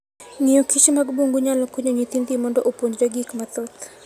Ng'iyo Kich mag bungu nyalo konyo nyithindi mondo opuonjre gik mathoth.